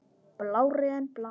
Blárri en blá.